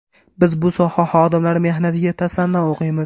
Biz bu soha xodimlari mehnatiga tasanno o‘qiymiz.